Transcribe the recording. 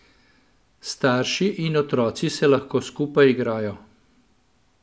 Starši in otroci se lahko skupaj igrajo.